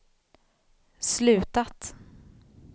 slutat